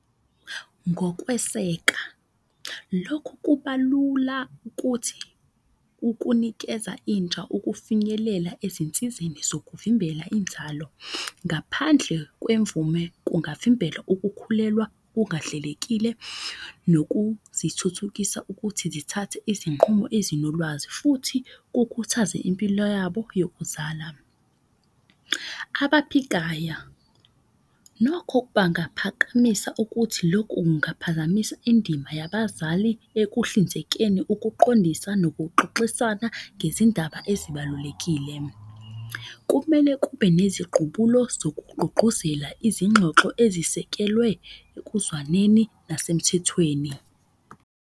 Ngokweseka lokhu kuba lula ukuthi ukunikeza intsha, ukufinyelela ezinsizeni zokuvimbela inzalo. Ngaphandle kwemvume kungavimbela ukukhulelwa kungahlelekile nokuzithuthukisa ukuthi zithathe izinqumo ezinolwazi. Futhi kukhuthaze impilo yabo yokuzala. Abaphikaya nokho bangaphakamisa ukuthi loku kungaphazamisa indima yabazali ekuhlinzekeni ukuqondisa nokuxoxisana ngezindaba ezibalulekile. Kumele kube neziqubulo zokugqugquzela izingxoxo ezisekelwe ekuzwaneni nasemthethweni.